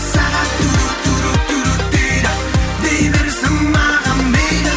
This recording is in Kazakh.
сағат дейді дей берсін маған мейлі